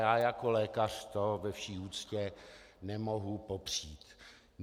Já jako lékař to, ve vší úctě, nemohu popřít.